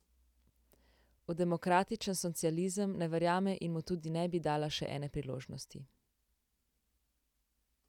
V demokratičen socializem ne verjame in mu tudi ne bi dala še ene priložnosti.